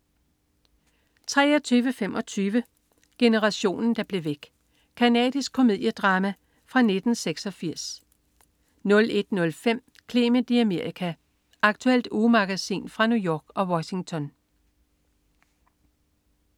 23.25 Generationen der blev væk. Canadisk komediedrama fra 1986 01.05 Clement i Amerika. Aktuelt ugemagasin fra New York og Washington